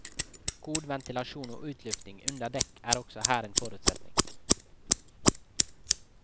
God ventilasjon og utlufting under dekk er også her en forutsetning.